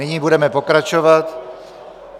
Nyní budeme pokračovat.